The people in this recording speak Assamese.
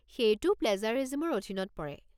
সেইটোও প্লেজাৰিজিমৰ অধীনত পৰে।